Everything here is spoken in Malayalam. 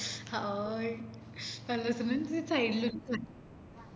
hai നല്ലരസേണ്ടാവും പിന്ന side ൽ ഉപ്പും